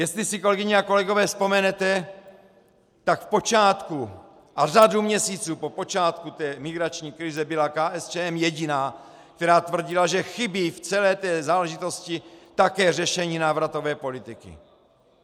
Jestli si, kolegyně a kolegové, vzpomenete, tak v počátku a řadu měsíců po počátku té migrační krize byla KSČM jediná, která tvrdila, že chybí v celé té záležitosti také řešení návratové politiky.